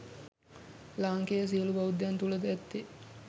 ලාංකේය සියලු බෞද්ධයන් තුළ ද ඇත්තේ